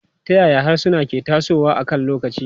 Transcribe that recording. Ta yaya harsuna ke tasowa akan lokaci?